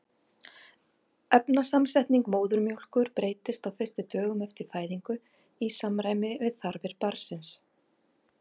efnasamsetning móðurmjólkur breytist á fyrstu dögum eftir fæðinguna í samræmi við þarfir barnsins